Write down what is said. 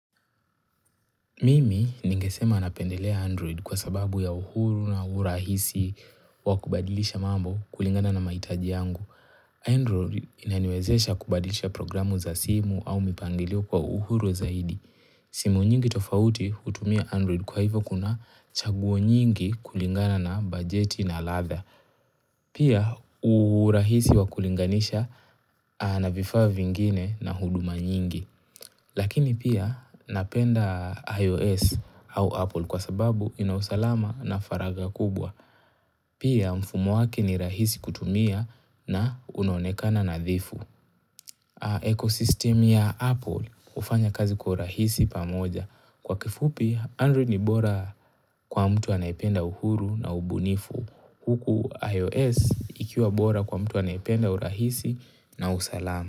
Mimi ningesema napendelea Android kwa sababu ya uhuru na urahisi wa kubadilisha mambo kulingana na mahitaji yangu. Android inaniwezesha kubadilisha programu za simu au mipangilio kwa uhuru zaidi. Simu nyingi tofauti hutumia Android kwa hivyo kuna chaguo nyingi kulingana na bajeti na ladha. Pia urahisi wa kulinganisha na vifaa vingine na huduma nyingi. Lakini pia napenda iOS au Apple kwa sababu ina usalama na faraga kubwa. Pia mfumo wake ni rahisi kutumia na unaonekana nadhifu. Ecosystemu ya Apple hufanya kazi kwa urahisi pamoja. Kwa kifupi Android ni bora kwa mtu anayependa uhuru na ubunifu. Huku iOS ikiwa bora kwa mtu anayependa uhurahisi na usalama.